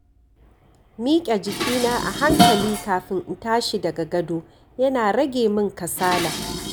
Miƙe jikina a hankali kafin in tashi daga gado yana rage min kasala.